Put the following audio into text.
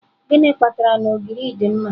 Gịnị kpatara na ogiri dị mma.